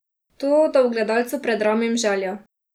To, da v gledalcu predramim željo.